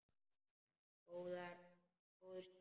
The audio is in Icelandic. En góður stíll!